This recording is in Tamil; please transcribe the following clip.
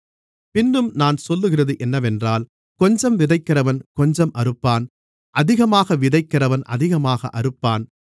பின்னும் நான் சொல்லுகிறது என்னவென்றால் கொஞ்சம் விதைக்கிறவன் கொஞ்சம் அறுப்பான் அதிகமாக விதைக்கிறவன் அதிகமாக அறுப்பான்